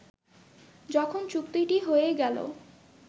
যখন চুক্তিটি হয়েই গেল